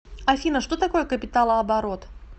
афина что такое капиталооборот